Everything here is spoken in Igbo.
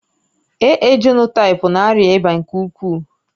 AA jenotaịpu na-arịa ịba nke ukwuu